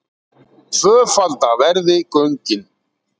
Tvöfalda verði göngin